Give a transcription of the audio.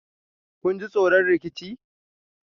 kun ji tsoron rikicin?